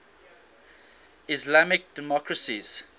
islamic democracies